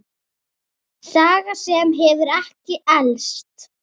Saga sem hefur ekki elst.